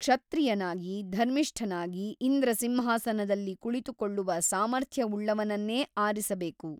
ಕ್ಷತ್ರಿಯನಾಗಿ ಧರ್ಮಿಷ್ಠನಾಗಿ ಇಂದ್ರಸಿಂಹಾಸನದಲ್ಲಿ ಕುಳಿತುಕೊಳ್ಳುವ ಸಾಮಥರ್ಯ್‌ವುಳ್ಳವನನ್ನೇ ಆರಿಸಬೇಕು.